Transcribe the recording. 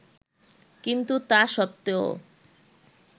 কিন্তু তা সত্বেও